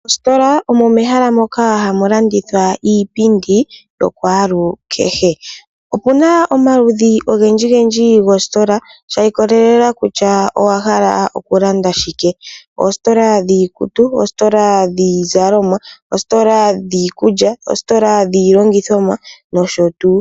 Mostola omo mehala moka hamu landithwa iipindi ya kwalukehe. Opuna omaludhi ogendji gendji goostola, sh ikolela kutya owahala oku landa shike, oostola dhiikutu, oostola dhiizalomwa, oostola dhiikulya, oostola dhilongithomwa nosho tuu.